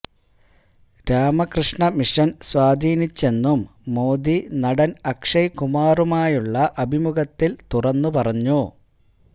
Ramakrishna Mission സ്വാധീനിച്ചെന്നും മോദി നടൻ അക്ഷയ് കുമാറുമായുള്ള അഭിമുഖത്തിൽ തുറന്നുപറഞ്ഞു